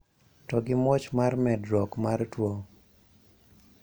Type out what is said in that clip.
To gi muoch mar medruok mar tuo